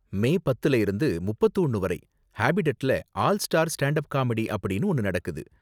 மே பத்துல இருந்து முப்பத்து ஒன்னு வரை ஹாபிடட்ல ஆல் ஸ்டார் ஸ்டாண்ட்அப் காமெடி அப்படின்னு ஒன்னு நடக்குது.